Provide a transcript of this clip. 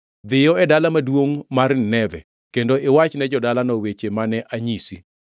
“Dhiyo e dala maduongʼ mar Nineve, kendo iwachne jo-dalano weche mane anyisi.”